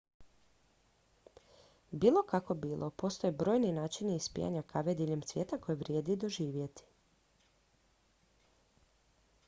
bilo kako bilo postoje brojni načini ispijanja kave diljem svijeta koje vrijedi doživjeti